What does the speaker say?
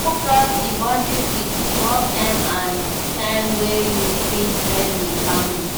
No cross the boundry between work time and time wey you fit spend with family